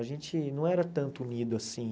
A gente não era tanto unido assim.